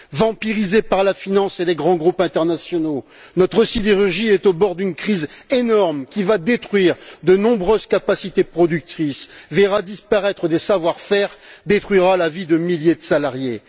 Vampirisée par la finance et les grands groupes internationaux, notre sidérurgie est au bord d'une crise énorme qui va détruire de nombreuses capacités productrices, verra disparaître des savoir faire, détruira la vie de milliers de salariés.